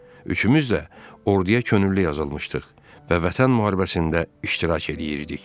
Üçümüz də orduya könüllü yazılmışdıq və Vətən müharibəsində iştirak eləyirdik.